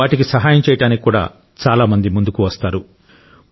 వాటికి సహాయం చేయడానికి కూడా చాలా మంది ముందుకు వస్తారు